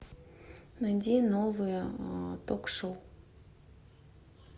найди новые ток шоу